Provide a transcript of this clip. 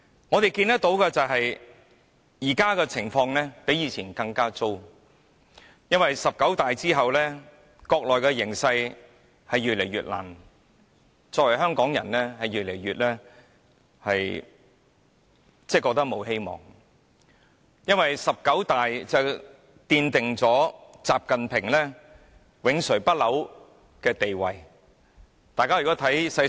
我們看到的就是，現時的情況比之前更糟糕，因為"十九大"之後，國內的形勢令香港的處境越來越艱難，我們作為香港人越來越感到沒有希望，因為"十九大"奠定了習近平永垂不朽的地位。